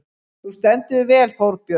Þú stendur þig vel, Þórbjörg!